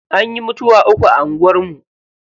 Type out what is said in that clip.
Anyi mutuwa uku a anguwar mu.